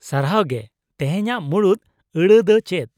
ᱥᱟᱨᱦᱟᱣ ᱜᱮ ᱾ ᱛᱮᱦᱮᱧᱟᱜ ᱢᱩᱬᱩᱫ ᱟᱹᱲᱟᱹ ᱫᱚ ᱪᱮᱫ ?